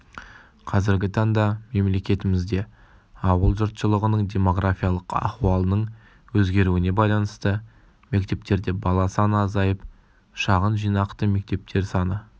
қазіргі таңда мемлекетімізде ауыл жұртшылығының демографиялық ахуалының өзгеруіне байланысты мектептерде бала саны азайып шағын жинақты мектептер саны